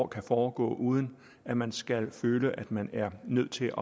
kan foregå uden at man skal føle at man er nødt til